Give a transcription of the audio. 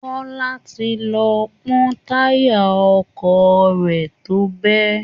Kọ́lá ti lọ pọ́ táyà ọkọ̀ rẹ̀ tó bẹ́